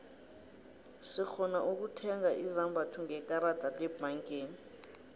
sirhona ukutheiga izombatho ngekarada lebhangeni